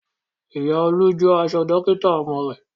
Ìyá Olú jó aṣọ iṣẹ́ Dókítà ọmọ rẹ̀